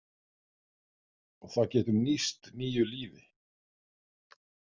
Og það getur nýst nýju lífi.